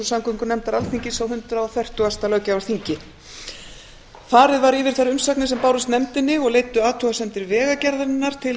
samgöngunefndar alþingis á hundrað fertugasta löggjafarþingi farið var yfir þær umsagnir sem bárust nefndinni og leiddu athugasemdir vegagerðarinnar til